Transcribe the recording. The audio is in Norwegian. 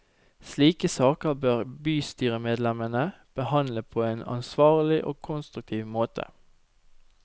Slike saker bør bystyremedlemmene behandle på en ansvarlig og konstruktiv måte.